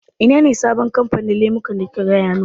Ina ne sabon kamfanin lemukan da kika gaya min?